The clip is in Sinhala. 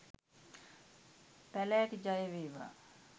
පැලෑටි ජය වේවා